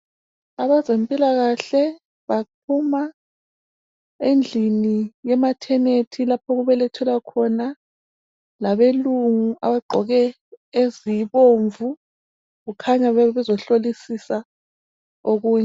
Abezempilakahle baphuma endlini yemathenethi lapho okubelethelwa khona labelungu abagqoke ezibomvu kukhanya bebezohlolisisa okunye.